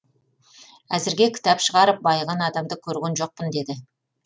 әзірге кітап шығарып байыған адамды көрген жоқпын деді